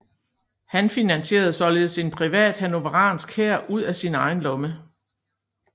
Han finansierede således en privat hannoveransk hær ud af sin egen lomme